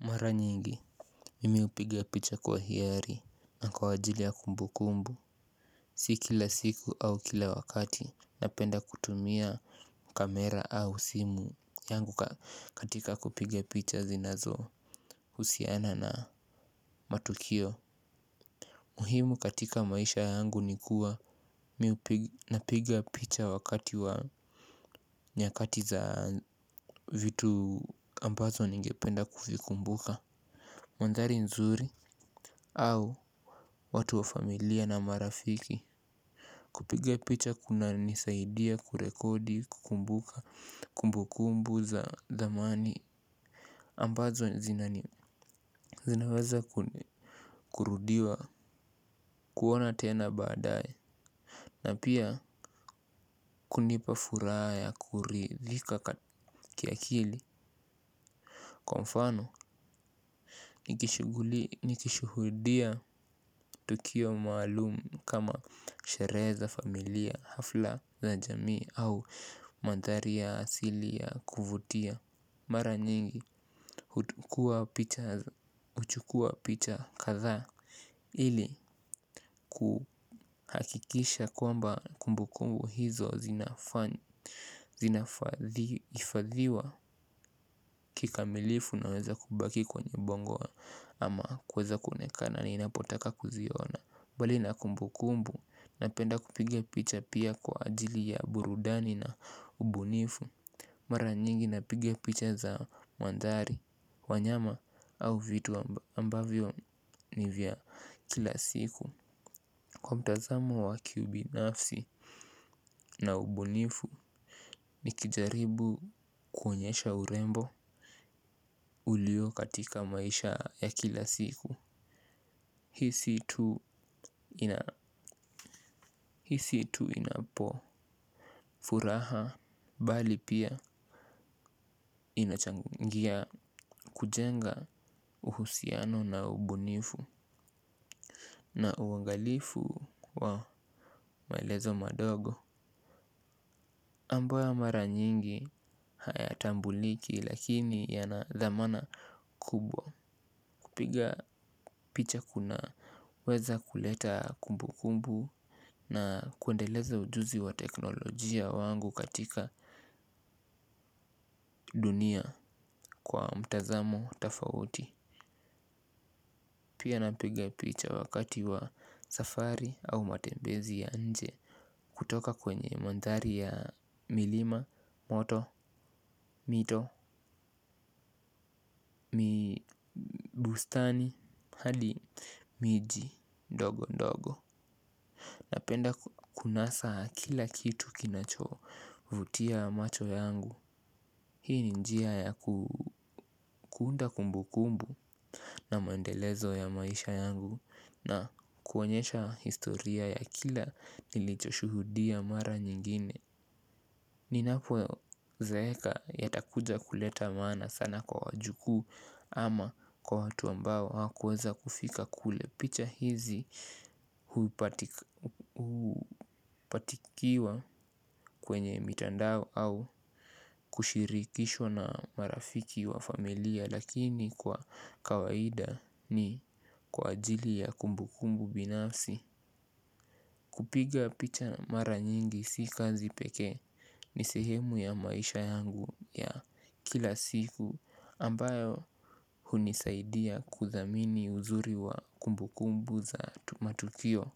Mara nyingi mimi hupiga picha kwa hiari na kwa ajili ya kumbu kumbu. Sikila siku au kila wakati napenda kutumia kamera au simu yangu katika kupiga picha zinazo husiana na matukio muhimu katika maisha yangu nikua miu napiga picha wakati wa nyakati za vitu ambazo ningependa kufikumbuka. Mandhari nzuri au watu wa familia na marafiki. Kupiga picha kuna nisaidia kurekodi kumbuka kumbukumbu za zamani ambazo zinaweza kurudiwa kuona tena baadae. Na pia kunipa furaa ya kuridhika kiakili. Kwa mfano, nikishuhudia tukio maalum kama sheree za familia hafla za jamii au mandhari ya asili ya kuvutia. Mara nyingi, huchukua picha kathaa. Ili kuhakikisha kwamba kumbu kumbu hizo zinafadhi hifadhiwa kikamilifu naweza kubaki kwenye bongo ama kweza kuonekana ni inapotaka kuziona. Mbali na kumbu kumbu napenda kupige picha pia kwa ajili ya burudani na ubunifu. Mara nyingi napiga picha za wandhari, wanyama au vitu ambavyo ni vya kila siku. Kwa mtazamo wa kiubinafsi na ubunifu ni kijaribu kuonyesha urembo ulio katika maisha ya kila siku. Hisi tu inapo furaha bali pia inachangia kujenga uhusiano na ubunifu. Na uangalifu wa maelezo madogo ambaoa mara nyingi hayatambuliki lakini yanadhamana kubwa. Kupiga picha kuna weza kuleta kumbu kumbu na kwendeleza ujuzi wa teknolojia wangu katika dunia kwa mtazamo tafauti. Pia napiga picha wakati wa safari au matembezi ya nje. Kutoka kwenye mandhari ya milima, moto, mito, mibustani, hali, miji, ndogo ndogo. Napenda kunasa kila kitu kinacho vutia macho yangu. Hii ni njia ya kuunda kumbu kumbu na mandelezo ya maisha yangu. Na kuonyesha historia ya kila nilichoshuhudia mara nyingine. Ninapo zeeka yatakuja kuleta maana sana kwa wajukuu ama kwa watu ambao hakuweza kufika kule picha hizi huipatikiwa kwenye mitandao au kushirikishwa na marafiki wa familia lakini kwa kawaida ni kwa ajili ya kumbu kumbu binafsi. Kupiga picha mara nyingi si kazi pekee ni sehemu ya maisha yangu ya kila siku ambayo hunisaidia kudhamini uzuri wa kumbu kumbu za matukio.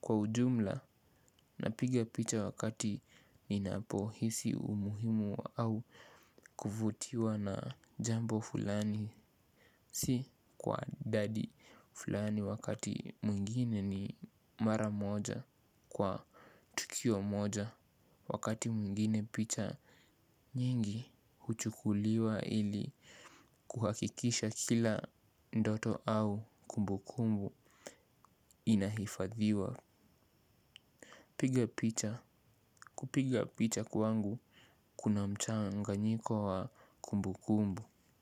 Kwa ujumla na piga picha wakati ninapo hisi umuhimu au kuvutiwa na jambo fulani. Si kwa dadi fulani wakati mwingine ni mara moja kwa tukio moja. Wakati mwingine picha nyingi huchukuliwa ili kuhakikisha kila ndoto au kumbukumbu inahifadhiwa. Piga picha. Kupiga picha kwangu kuna mchanganyiko wa kumbu kumbu.